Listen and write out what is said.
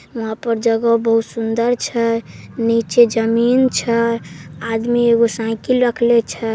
यहां पर जगह बहुत सुंदर छै नीचे जमीन छै आदमी एगो साइकिल रखले छै।